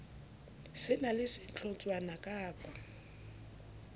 se na le sehlotshwana kappa